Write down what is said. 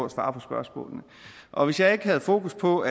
at svare på spørgsmålene og hvis jeg ikke havde fokus på